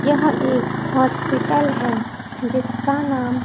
यह एक हॉस्पिटल है जिसका नाम--